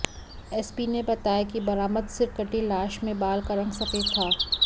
SP ने बताया कि बरामद सिरकटी लाश में बाल का रंग सफेद था